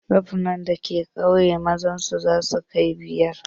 Rafunan da ke ƙauyen mu zasu kai biyar.